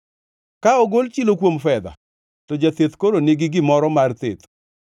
Ka ogol chilo kuom fedha, to jatheth koro nigi gimoro mar theth;